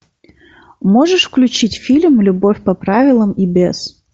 можешь включить фильм любовь по правилам и без